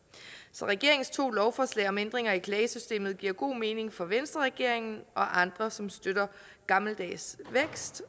så regeringens to lovforslag om ændringer i klagesystemet giver god mening for venstreregeringen og andre som støtter gammeldags vækst